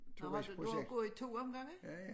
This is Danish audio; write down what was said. Nåh har du du har gået af to omgange?